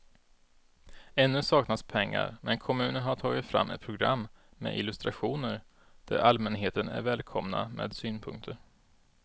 Ännu saknas pengar men kommunen har tagit fram ett program med illustrationer där allmänheten är välkomna med synpunkter.